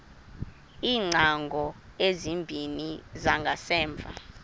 iingcango ezimbini zangasemva